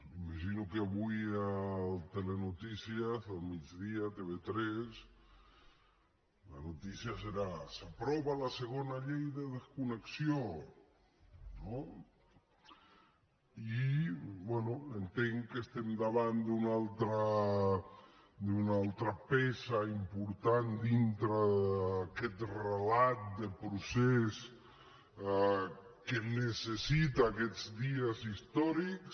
imagino que avui al migdia a tv3 la notícia serà s’aprova la segona llei de desconnexió no i bé entenc que estem davant d’una altra peça important dintre d’aquest relat de procés que necessita aquests dies històrics